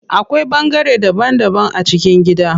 Akwai bangare daban daban a cikin gida.